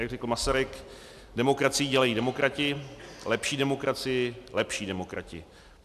Jak řekl Masaryk, demokracii dělají demokrati, lepší demokracii lepší demokrati.